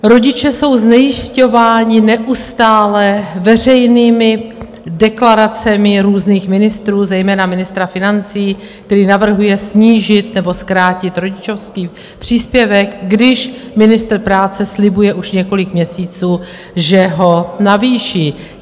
Rodiče jsou znejisťováni neustále veřejnými deklaracemi různých ministrů, zejména ministra financí, který navrhuje snížit nebo zkrátit rodičovský příspěvek, když ministr práce slibuje už několik měsíců, že ho navýší.